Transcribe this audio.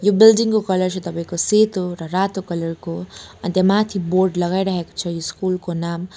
यो बिल्डिङ को कलर चाहिँ तपाईंको सेतो र रातो कलर को अन्तमाथि बोर्ड लगाइरहेको छ ईस्कुल स्कुल को नाम--